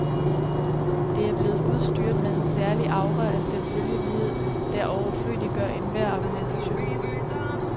Det er blevet udstyret med en særlig aura af selvfølgelighed, der overflødiggør enhver argumentation.